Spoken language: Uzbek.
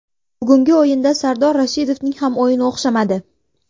Bugungi o‘yinda Sardor Rashidovning ham o‘yini o‘xshamadi.